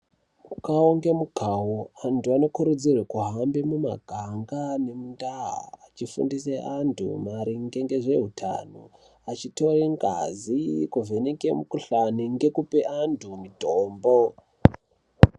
Mukavo nemukavo antu anokurudzirwe kuhambe mumaganga nemundaa achifundise antu maringe nemukaa achitoye ngazi ,kuvheneke mukuhlani nekupe antu mutombo.